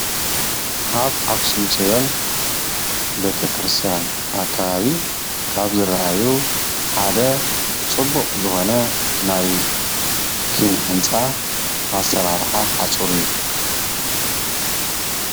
ኣብ ኣኽሱም ፅዮን ቤተ ክርስቲያን ኣከባቢ ካብ ዝርኣዩ ሓደ ፅቡቕ ዝኾነ ናይ ኪነ ህንፃ ኣሰራርሓ ሓፁር እዩ፡፡